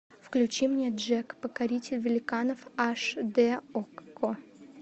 включи мне джек покоритель великанов аш д окко